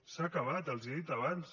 s’ha acabat els ho he dit abans